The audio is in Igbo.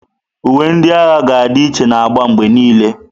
Uwe ndị agha ga-adị iche na agba mgbe niile.